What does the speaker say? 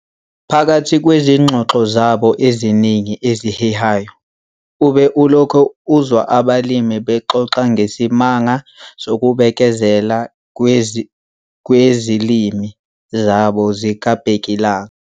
Phakathi kwezingxoxo zabo eziningi ezihehayo, ube ulokhu uzwa abalimi bexoxa ngesimanga sokubekezela kwezilimo zabo zikabhekilanga.